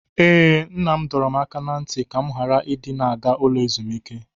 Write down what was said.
Ee, Nna m dọrọ m aka ná ntị ka m ghara ịdị na-aga ụlọ ezumike.